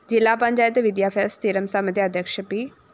ജില്ലാ പഞ്ചായത്ത് വിദ്യാഭ്യാസ സ്ഥിരംസമിതി അധ്യക്ഷ പി